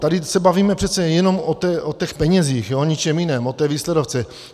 Tady se bavíme přece jenom o těch penězích, o ničem jiném, o té výsledovce.